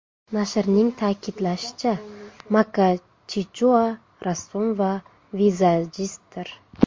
Nashrning ta’kidlashicha, Maka Chichua rassom va vizajistdir.